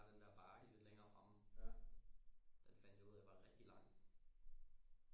Der er den der bakke lidt længere fremme den fandt jeg ud af var rigtig lang